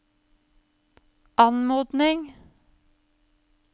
anmodning